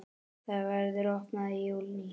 Það verður opnað í júní.